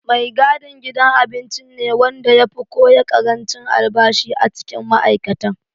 Mai gadin gidan abincin ne wanda ya fi koya ƙarancin albashi a cikin ma'aikatan.